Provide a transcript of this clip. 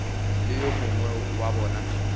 le yo mongwe wa bona